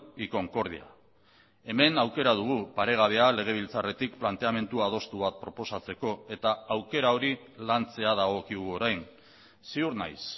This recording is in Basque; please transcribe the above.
y concordia hemen aukera dugu paregabea legebiltzarretik planteamendu adostu bat proposatzeko eta aukera hori lantzea dagokigu orain ziur naiz